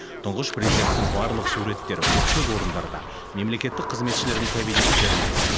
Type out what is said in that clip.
тұңғыш президенттің барлық суреттері көпшілік орындарда мемлекеттік қызметшілердің кабинеттерінде